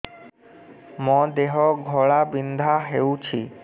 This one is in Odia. ମୋ ଦେହ ଘୋଳାବିନ୍ଧା ହେଉଛି